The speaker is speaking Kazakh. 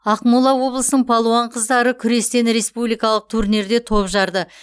ақмола облысының палуан қыздары күрестен республикалық турнирде топ жарды